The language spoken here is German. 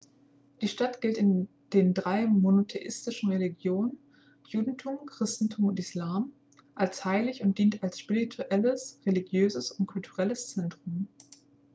die stadt gilt in den drei monotheistischen religionen judentum christentum und islam als heilig und dient als spirituelles religiöses und kulturelles zentrum